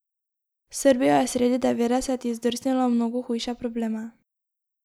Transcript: Srbija je sredi devetdesetih zdrsnila v mnogo hujše probleme.